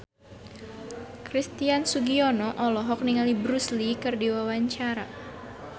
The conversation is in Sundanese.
Christian Sugiono olohok ningali Bruce Lee keur diwawancara